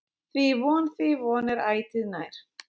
Því von, því von, er ætíð nær.